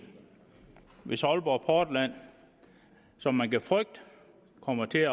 hvis aalborg portland som man kan frygte kommer til